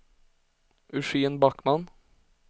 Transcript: Eugen Backman